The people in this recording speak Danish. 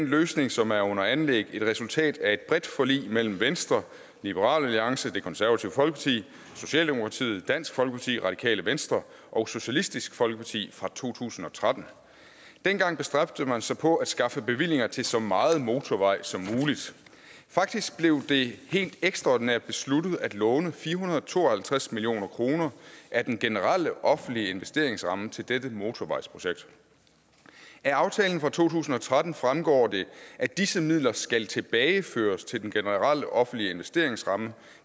løsning som er under anlæg et resultat af et bredt forlig mellem venstre liberal alliance det konservative folkeparti socialdemokratiet dansk folkeparti radikale venstre og socialistisk folkeparti fra to tusind og tretten dengang bestræbte man sig på at skaffe bevillinger til så meget motorvej som muligt faktisk blev det helt ekstraordinært besluttet at låne fire hundrede og to og halvtreds million kroner af den generelle offentlige investeringsramme til dette motorvejsprojekt af aftalen for to tusind og tretten fremgår det at disse midler skal tilbageføres til den generelle offentlige investeringsramme